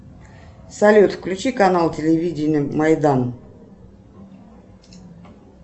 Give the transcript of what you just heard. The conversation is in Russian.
салют включи канал телевидения майдан